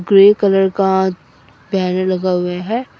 Grey colour का पेड़ लगा हुआ है।